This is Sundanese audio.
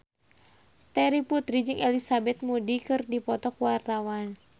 Terry Putri jeung Elizabeth Moody keur dipoto ku wartawan